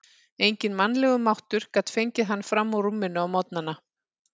Enginn mannlegur máttur gat fengið hann fram úr rúminu á morgnana.